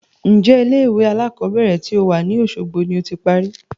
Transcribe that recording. Ń jẹ́ ilé ìwé alakọ̀bẹ́ẹ́rẹ̀ to wá ní Osogbo ni ó ti parí?